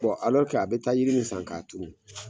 Bɔn alɔrike a be taa yiri min san k'a turu